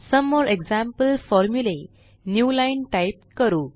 सोमे more example formulae newline type करू